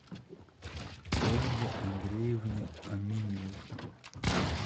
ольге андреевне аминевой